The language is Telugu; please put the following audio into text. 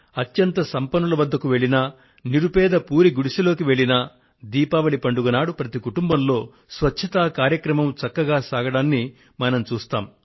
అత్యంత సంపన్నుల వద్దకు వెళ్ళినా నిరుపేద పూరి గుడిసెలోకి వెళ్ళినా దీపావళి పండుగ నాడు ప్రతి కుటుంబంలో స్వచ్ఛతా కార్యక్రమం చక్కగా సాగడాన్ని మనం గమనిస్తాము